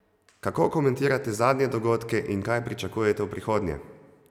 Kako komentirate zadnje dogodke in kaj pričakujete v prihodnje?